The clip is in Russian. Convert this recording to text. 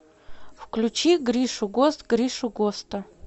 включи гришу гост гришу госта